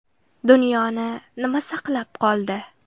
Dunyoni nima saqlab qoldi?